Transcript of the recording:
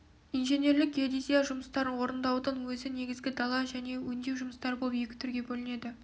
инженерлік геодезия жұмыстарын орындаудың өзі негізгі дала және өңдеу жұмыстары болып екі түрге бөлінеді